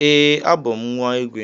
Ee, abum nwa igwe.